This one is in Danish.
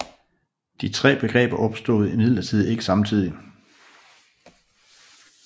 De tre begreber opstod imidlertid ikke samtidig